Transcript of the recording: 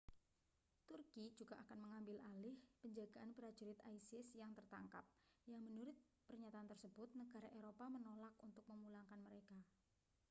turki juga akan mengambil alih penjagaan prajurit isis yang tertangkap yang menurut pernyatan tersebut negara eropa menolak untuk memulangkan mereka